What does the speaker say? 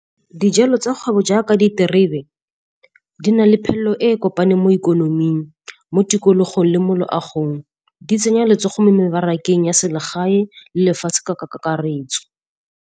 Dijalo tsa kgwebo jaaka diterebe di na le phelelo e kopaneng mo ikonoming, mo tikologong le mo loagong. Di tsenya letsogo mo mebarakeng ya selegae le lefatshe ka kakaretso.